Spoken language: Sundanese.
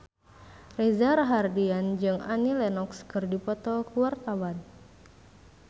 Reza Rahardian jeung Annie Lenox keur dipoto ku wartawan